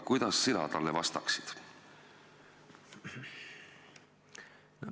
Kuidas sina talle vastaksid?